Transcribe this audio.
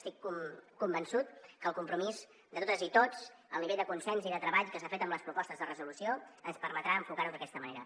estic convençut que el compromís de totes i tots i el nivell de consens i de treball que s’ha fet amb les propostes de resolució ens permetran enfocar ho d’aquesta manera